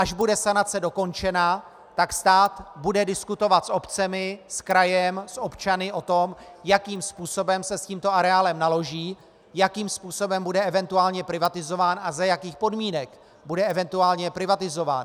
Až bude sanace dokončena, tak stát bude diskutovat s obcemi, s krajem, s občany o tom, jakým způsobem se s tímto areálem naloží, jakým způsobem bude eventuálně privatizován a za jakých podmínek bude eventuálně privatizován.